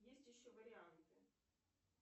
есть еще варианты